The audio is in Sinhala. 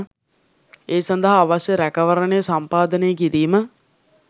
ඒ සඳහා අවශ්‍ය රැකවරණය සම්පාදනය කිරීම